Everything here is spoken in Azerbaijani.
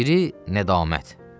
Biri nədamət.